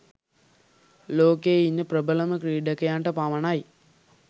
ලෝකයේ ඉන්න ප්‍රබලම ක්‍රීඩකයන්ට පමණයි.